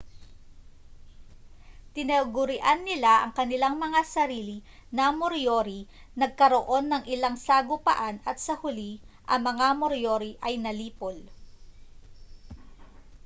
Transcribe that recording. tinagurian nila ang kanilang mga sarili na moriori nagkaroon ng ilang sagupaan at sa huli ang mga moriori ay nalipol